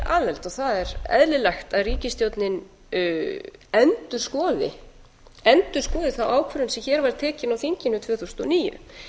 aðild og það er eðlilegt að ríkisstjórnin endurskoði þá ákvörðun sem hér var tekin á þinginu tvö þúsund og níu